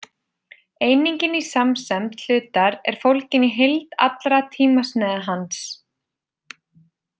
Einingin í samsemd hlutar er fólgin í heild allra tímasneiða hans.